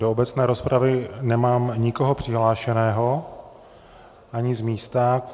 Do obecné rozpravy nemám nikoho přihlášeného, ani z místa.